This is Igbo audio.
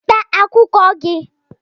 Weta akwụkwọ gị!